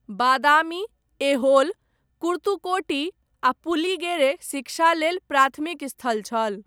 बादामी, ऐहोल, कुर्तुकोटी, आ पुलिगेरे, शिक्षा लेल प्राथमिक स्थल छल।